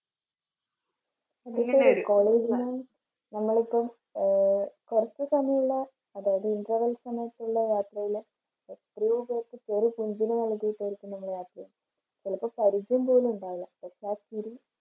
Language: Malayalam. college ന്ന് നമ്മളിപ്പം ആഹ് കുറച്ച് സമയങ്ങളില് അതായത് interval സമയത്തുള്ള യാത്രയില് ചിലപ്പോൾ പരിചയം പോലും ഉണ്ടാകില്ല പക്ഷേ ആ ചിരി